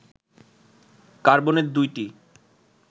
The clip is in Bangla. কার্বনের দুইটি